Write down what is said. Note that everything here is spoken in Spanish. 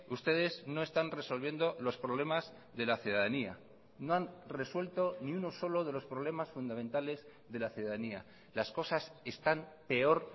ustedes no están resolviendo los problemas de la ciudadanía no han resuelto ni uno solo de los problemas fundamentales de la ciudadanía las cosas están peor